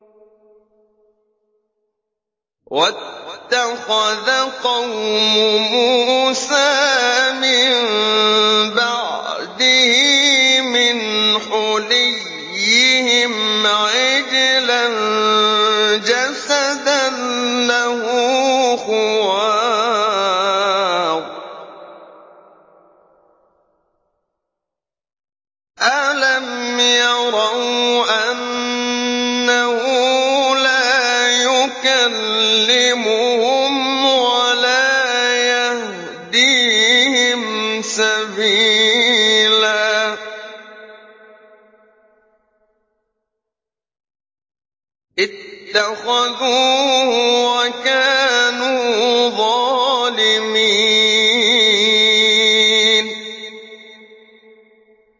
وَاتَّخَذَ قَوْمُ مُوسَىٰ مِن بَعْدِهِ مِنْ حُلِيِّهِمْ عِجْلًا جَسَدًا لَّهُ خُوَارٌ ۚ أَلَمْ يَرَوْا أَنَّهُ لَا يُكَلِّمُهُمْ وَلَا يَهْدِيهِمْ سَبِيلًا ۘ اتَّخَذُوهُ وَكَانُوا ظَالِمِينَ